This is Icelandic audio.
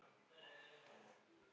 Eigum við að prófa þetta?